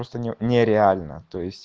просто нереально то есть